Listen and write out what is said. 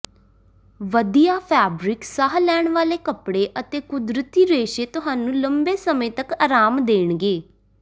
ਵਧੀਆ ਫੈਬਰਿਕ ਸਾਹ ਲੈਣ ਵਾਲੇ ਕੱਪੜੇ ਅਤੇ ਕੁਦਰਤੀ ਰੇਸ਼ੇ ਤੁਹਾਨੂੰ ਲੰਬੇ ਸਮੇਂ ਤੱਕ ਆਰਾਮ ਦੇਣਗੇ